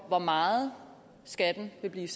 for meget skal jeg lige